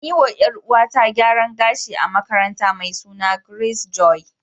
An yi wa ‘Yar’uwata gyaran gashi a makaranta mai suna Grace Joy.